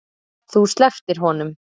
Þú slepptir honum.